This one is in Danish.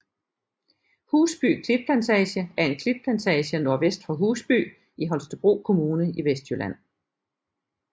Husby Klitplantage er en klitplantage nordvest for Husby i Holstebro Kommune i Vestjylland